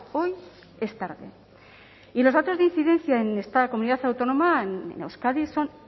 hoy es tarde y los datos de incidencia en esta comunidad autónoma en euskadi son